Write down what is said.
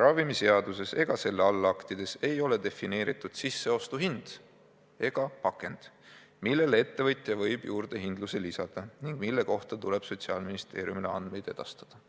"Ravimiseaduses ega selle allaktides ei ole defineeritud "sisseostuhind" ega "pakend", millele ettevõtja võib juurdehindluse lisada ning mille kohta tuleb Sotsiaalministeeriumile andmeid edastada.